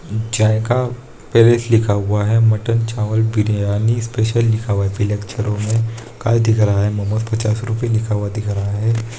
जाएका palace लिखा हुआ है मटन चावल बिरयानी स्पेशल लिखा हुआ है में काए दिख रहा है मोमोस पचास रुपया लिखा हुआ दिख रहा है।